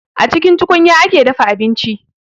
A cikin tukunya ake dafa abinci